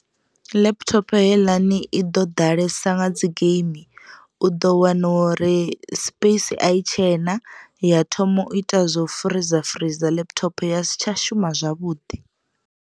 Laptop heiḽani i ḓo ḓalesa nga dzi geimi u ḓo wana uri space a i tshena ya thoma u ita zwo freezor freezor laptop ya si tsha shuma zwavhuḓi.